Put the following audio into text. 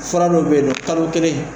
Fura dɔ bɛ yen kalo kelen